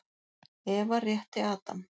Eva rétti Adam.